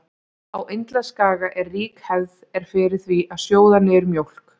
Á Indlandsskaga er rík hefð er fyrir því að sjóða niður mjólk.